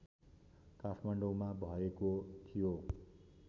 काठमाडौँमा भएको थियो